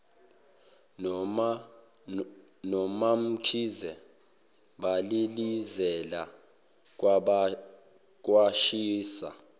nomamkhize balilizela kwashisa